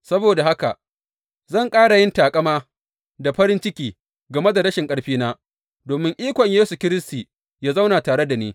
Saboda haka, zan ƙara yin taƙama da farin ciki game da rashin ƙarfina, domin ikon Yesu Kiristi yă zauna tare da ni.